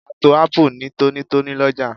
A to Ápù ní tónítóní lọ́jà